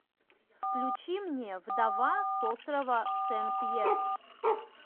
включи мне вдова с острова сен пьер